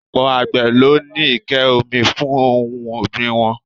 Ọ̀pọ̀ àgbè ló ní ike omi fún ohun ogbin wọn.